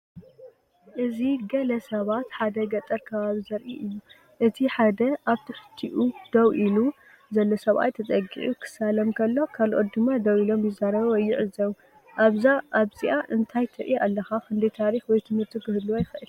እዚ ገለ ሰባት ኣብ ሓደ ገጠር ከባቢ ዘርኢ እዩ። እቲ ሓደ ኣብ ትሕቲኡ ደው ኢሉ ዘሎ ሰብኣይ ተጸጊዑ ክሳለም ከሎ፡ ካልኦትድማ ደው ኢሎም ይዛረቡ ወይ ይዕዘቡ። ኣብዛ እንታይ ትርኢ ኣለካ ክንደይ ታሪኽ ወይ ትምህርቲ ክህልዎ ይኽእል?